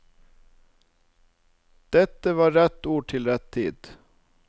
Dette var rette ord til rett tid.